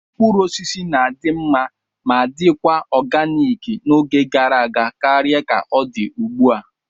Mkpụrụ osisi na-adị mma ma dikwa oganik n'oge gara aga karịa ka ọ dị ugbu a.